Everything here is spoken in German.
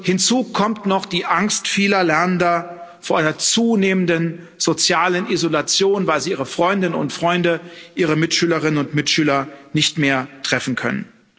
Hinzu kommt noch die Angst vieler Lernender vor einer zunehmenden sozialen Isolation, weil sie ihre Freundinnen und Freunde, ihre Mitschülerinnen und Mitschüler nicht mehr treffen können.